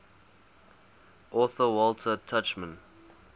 author walter tuchman